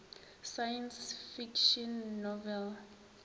science fiction novel